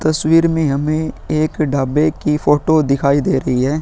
तस्वीर में हमें एक ढाबे की फोटो दिखाई दे रही है।